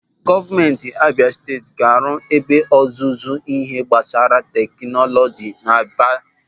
Gọọmenti Abịa Steeti ga-arụ ebe ọzụzụ n'ihe gbasara tekinọlọji n'Aba.